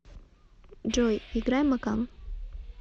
джой играй макан